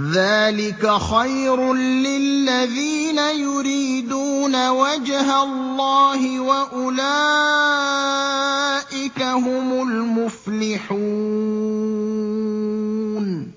ذَٰلِكَ خَيْرٌ لِّلَّذِينَ يُرِيدُونَ وَجْهَ اللَّهِ ۖ وَأُولَٰئِكَ هُمُ الْمُفْلِحُونَ